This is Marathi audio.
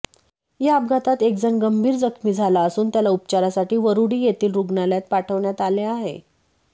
या अपघातात एकजण गंभीर जखमी झाला असून त्याला उपचारासाठी वरूडी येथील रूग्णालयात पाठवण्यात आले आहे